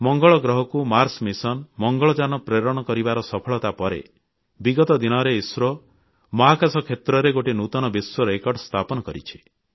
ମଙ୍ଗଳ ଗ୍ରହକୁ Mars mission Mangalyaan ପ୍ରେରଣ କରିବାର ସଫଳତା ପରେ ବିଗତ ଦିନରେ ଇସ୍ରୋ ମହାକାଶ କ୍ଷେତ୍ରରେ ଗୋଟିଏ ନୂତନ ବିଶ୍ୱ ରେକର୍ଡ ସ୍ଥାପନ କରିଛି